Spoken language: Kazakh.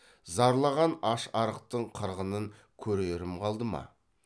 зарлаған аш арықтың қырғынын көрерім қалды ма